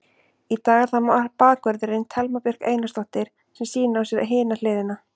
Í dag er það bakvörðurinn, Thelma Björk Einarsdóttir sem sýnir á sér hina hliðina.